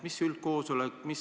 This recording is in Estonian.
Mis üldkoosolek?